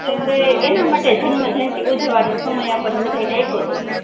તો આપડે એટલે એના માટે જન્મ જયંતિ ઊજવા નો સમય આપણને બધા ને આયપોતો